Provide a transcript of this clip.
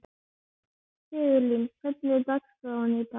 Sigurlín, hvernig er dagskráin í dag?